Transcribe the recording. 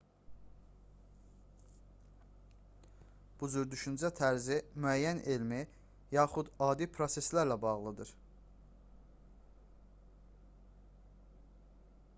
bu cür düşüncə tərzi müəyyən elmi yaxud adi proseslərlə bağlıdır